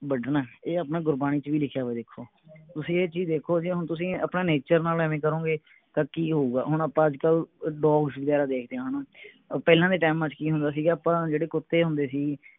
ਵੱਡਣੇ ਇਹ ਆਪਣੇ ਗੁਰਬਾਣੀ ਚ ਵੀ ਲਿਖਿਆ ਹੋਇਆ ਵੇਖੋ ਤੁਸੀਂ ਇਹ ਚੀਜ ਦੇਖੋ ਕਿ ਹੁਣ ਤੁਸੀਂ ਆਪਣੇ nature ਨਾਲ ਐਂਵੇ ਕਰੋਂਗੇ ਤਾਂ ਕਿ ਹੋਊਗਾ ਹੁਣ ਆਪਾਂ ਅੱਜਕਲ ਵਗੈਰਾ ਦੇਖਦੇ ਏ ਹਣਾ ਪਹਿਲਾਂ ਦੇ ਟੈਮਾਂ ਚ ਕਿ ਹੁੰਦਾ ਸੀਗਾ ਆਪਾਂ ਜਿਹੜੇ ਕੁੱਤੇ ਹੁੰਦੇ ਸੀ